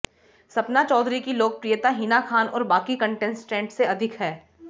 सपना चौधरी की लोकप्रियता हिना खान और बाकी कंटेस्टेंट से अधिक है